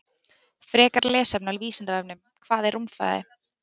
Frekara lesefni á Vísindavefnum: Hvað er rúmfræði?